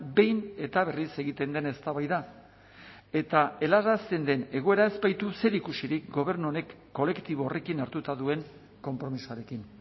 behin eta berriz egiten den eztabaida eta helarazten den egoera ez baitu zerikusirik gobernu honek kolektibo horrekin hartuta duen konpromisoarekin